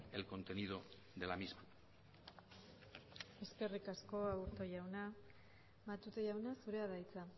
el contenido de la misma eskerrik asko aburto jauna matute jauna zurea da hitza